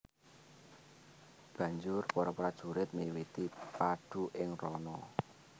Banjur para prajurit miwiti padu ing rana